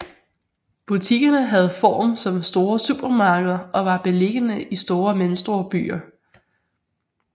Butikkerne havde form som store supermarkeder og var beliggende i store og mellemstore byer